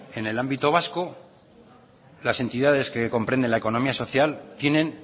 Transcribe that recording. en el ámbito vasco las entidades que comprenden la economía social tienen